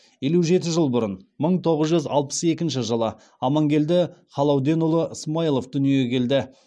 елу жеті жыл бұрын амангелді халауденұлы смаилов дүниеге келді